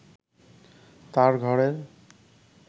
তার ঘরের